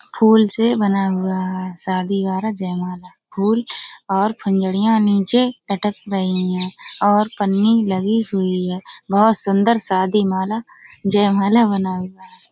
फूल से बना हुआ है शादी वारा जयमाला। फूल और फुलझड़ियाँ नीचे लटक रही हैं और पन्नी लगी हुई है। बहोत सुंदर शादी माला जयमाला बना हुआ है।